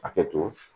Hakɛ to